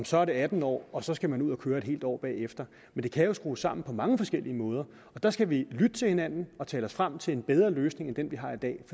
så er det atten år og så skal man ud at køre et helt år bagefter men det kan jo skrues sammen på mange forskellige måder og der skal vi lytte til hinanden og tale os frem til en bedre løsning end den